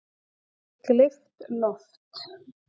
Gleypt loft